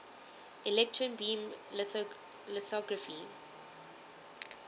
electron beam lithography